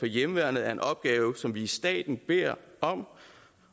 hjemmeværnet er en opgave som vi i staten beder om